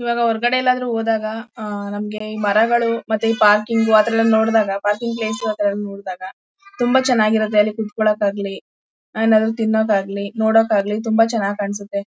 ಈವಾಗ ಹೊರಗಡೆ ಎಲ್ಲಾದ್ರೂ ಹೋದಾಗ ಆಹ್ಹ್ ನಮಗೆ ಈಮರಗಳು ಮತ್ತೆ ಈ ಪಾರ್ಕಿಂಗು ಆತರ ಎಲ್ಲ ನೋಡಿದಾಗ ಪಾರ್ಕಿಂಗ್ ಪ್ಲೇಸ್ ಆತರ ಎಲ್ಲಾ ನೋಡಿದಾಗ ತುಂಬಾ ಚೆನ್ನಗಿರುತ್ತೆ ಅಲ್ಲಿ ಕುತ್ಕೊಳ್ಳೋಕಾಗಲಿ ಏನಾದ್ರು ತಿನ್ನೋಕೆ ಆಗ್ಲಿ ನೋಡೋಕ್ ಆಗ್ಲಿ ತುಂಬಾ ಚೆನ್ನಾಗ್ ಕಾಣ್ಸುತ್ತೆ